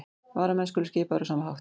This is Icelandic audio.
Varamenn skulu skipaðir á sama hátt